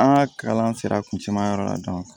An ka kalan sera kuncɛ ma yɔrɔ la